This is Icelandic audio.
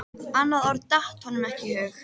Annað orð datt honum ekki í hug.